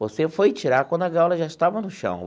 Você foi tirar quando a gaula já estava no chão.